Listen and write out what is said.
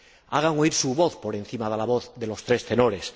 Hagan oír su voz por encima de la voz de los tres tenores.